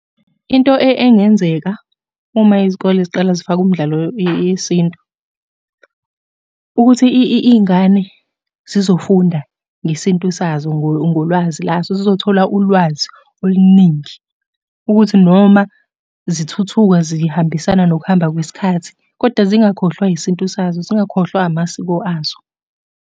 Into engenzeka, uma izikole ziqala zifake umdlalo yesintu, ukuthi iy'ngane zizofunda ngesintu sazo, ngolwazi lazo. Zizothola ulwazi oluningi, ukuthi noma zithuthuka zihambisana nokuhamba kwesikhathi, koda zingakhohlwa isintu sazo, zingakhohlwa amasiko azo.